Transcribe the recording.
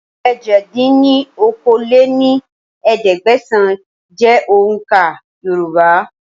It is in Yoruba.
èje dín ní okòó-lé-ní-ẹ̀ẹ́dẹ́gbẹ́sán jẹ́ òun ká Yorùbá